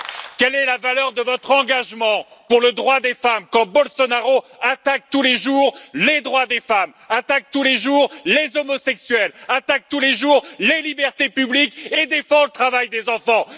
Quelle est la valeur de votre engagement pour le droit des femmes quand Bolsonaro attaque tous les jours les droits des femmes, attaque tous les jours les homosexuels, attaque tous les jours les libertés publiques et défend le travail des enfants?